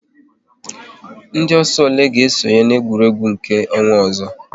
Ndị ọsọ ole ga esonye na-egwuregwu nke ọnwa ọzọ?